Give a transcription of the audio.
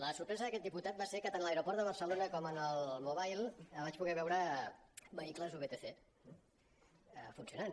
la sorpresa d’aquest diputat va ser que tant a l’aeroport de barcelona com en el mobile vaig poder veure vehicles vtc funcionant